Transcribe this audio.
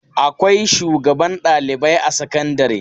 Akwai shugaban ɗalibai a sakandare.